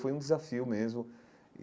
Foi um desafio mesmo e.